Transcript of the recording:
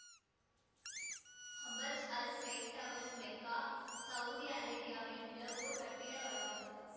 Abraj Al Bait Towers Mecca Saudi அரேபியாவில் உள்ள ஓர் கட்டிட வளாகம்